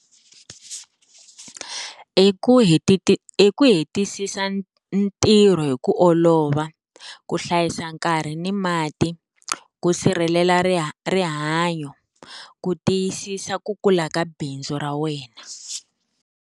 I ku i ku hetisisi ntirho hi ku olova, ku hlayisa nkarhi ni mati, ku sirhelela riha rihanyo ku tiyisisa ku kula ka bindzu ra wena.